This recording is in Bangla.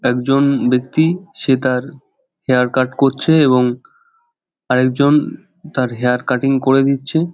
একজন বেক্তি সে তার হেয়ার কাট করছে এবং আর একজন তার হেয়ার কাটিং করে দিচ্ছে ।